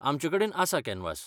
आमचेकडेन आसा कॅनवास.